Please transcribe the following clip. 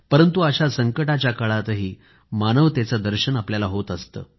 परंतु अशा संकटाच्या काळातही मानवतेचे दर्शन आपल्याला होत असते